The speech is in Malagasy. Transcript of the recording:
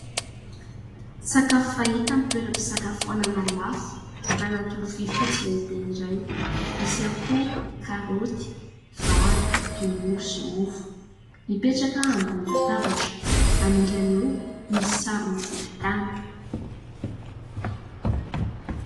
Sakafo fahita amin' ny toeram-pisakafoanana lafo anaty lovia fotsy lehibe iray. Misy ihany karaoty , vary, tongolo sy mofo. Mipetraka ambonin' ny latabatra, anilany eo misy sarony volotany.